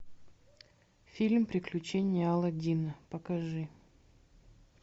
фильм приключения аладдина покажи